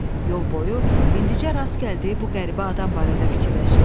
Yol boyu indincə rast gəldiyi bu qəribə adam barədə fikirləşirdi.